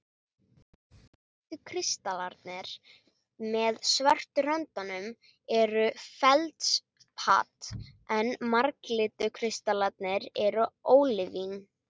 Hvítu kristallarnir með svörtu röndunum er feldspat, en marglitu kristallarnir eru ólívín.